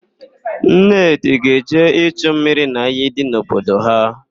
Nnedị ga-eje ichu mmiri n'iyi dị n'obodo ha.